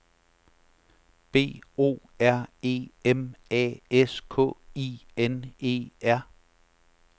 B O R E M A S K I N E R